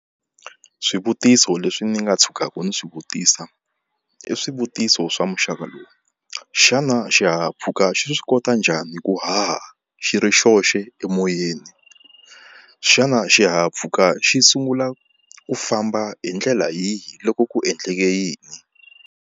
Swivutiso leswi ni nga tshukaka ni swivutisa i swivutiso swa muxaka lowu, xana xihahampfhuka xi swi kota njhani ku haha xi ri xoxe emoyeni, xana xihahampfhuka xi sungula ku famba hi ndlela yihi loko ku endleke yini?